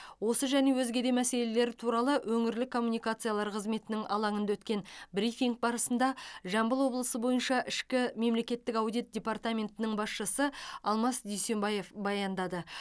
осы және өзге де мәселелер туралы өңірлік коммуникациялар қызметінің алаңында өткен брифинг барысында жамбыл облысы бойынша ішкі мемлекеттік аудит департаментінің басшысы алмас дүйсенбаев баяндады